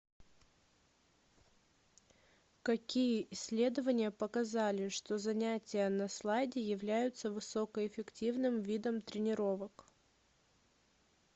какие исследования показали что занятия на слайде являются высокоэффективным видом тренировок